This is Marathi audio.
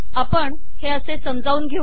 आपण हे असे समजावून घेऊ